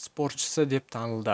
спортшысы деп танылды